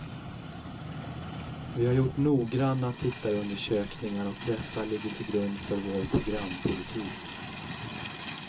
Vi har gjort noggranna tittarundersökningar och dessa ligger till grund för vår programpolitik.